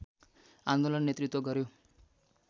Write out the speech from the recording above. आन्दोलन नेतृत्व गर्‍यो